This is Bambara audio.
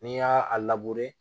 N'i y'a a